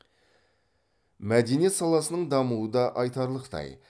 мәдениет саласының дамуы да айтарлықтай